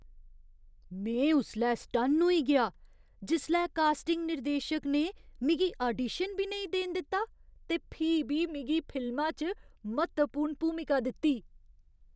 में उसलै सटन्न होई गेआ जिसलै कास्टिंग निर्देशक ने मिगी आडीशन बी नेईं देन दित्ता ते फ्ही बी मिगी फिल्मा च म्हत्तवपूर्ण भूमिका दित्ती।